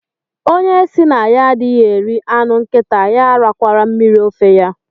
Onye si na ya adịghị eri anụ nkịta ya arakwala mmiri ofe ya